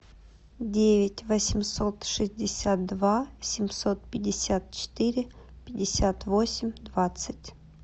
девять восемьсот шестьдесят два семьсот пятьдесят четыре пятьдесят восемь двадцать